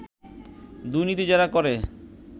দুর্নীতি যারা করে